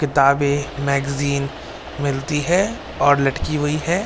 किताबें मैगज़ीन मिलती है और लटकी हुई है।